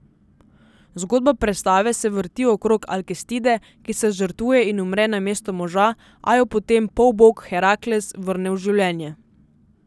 Zgodba predstave se vrti okrog Alkestide, ki se žrtvuje in umre namesto moža, a jo po tem polbog Herakles vrne v življenje.